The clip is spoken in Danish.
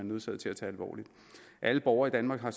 nødsaget til at tage alvorligt alle borgere i danmark har